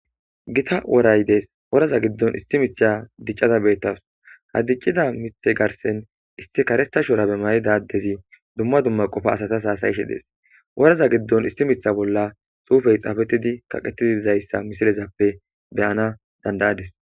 Gita woray dees woraza giddon isti mitcha diccaza beettas hadiccida mithe garsen isti karetha shora bemayi dadezi dumma dumma qofa asatas haasayishe dees woraza giddon isti mitha bolla xuufey xaafetidi kaqettidiizayssa misilezappe beyana dandayadis.